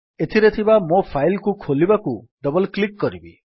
ଏଠାରେ ଥିବା ମୋ ଫାଇଲ୍ କୁ ଖୋଲିବାକୁ ଡବଲ୍ କ୍ଲିକ୍ କରିବି